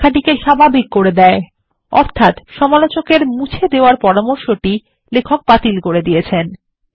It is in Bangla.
এটি লেখাটিকে স্বাভাবিক করে দেয় অর্থাত্ সমালোচক মুছে দেওয়ার পরামর্শটি লেখক বাতিল করে দিয়েছেন